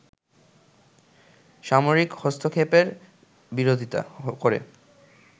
সামরিক হস্তক্ষেপের বিরোধিতা করে